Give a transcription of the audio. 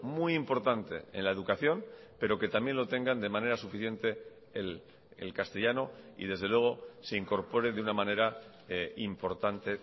muy importante en la educación pero que también lo tengan de manera suficiente el castellano y desde luego se incorpore de una manera importante